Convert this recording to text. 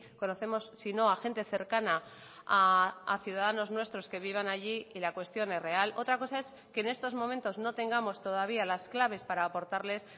conocemos sino a gente cercana a ciudadanos nuestros que vivan allí y la cuestión es real otra cosa es que en estos momentos no tengamos todavía las claves para apórtales